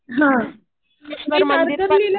हा. मी कातरलीला गेले